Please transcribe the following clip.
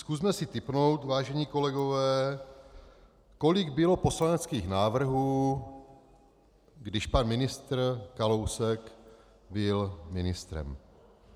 Zkusme si tipnout, vážení kolegové, kolik bylo poslaneckých návrhů, když pan ministr Kalousek byl ministrem.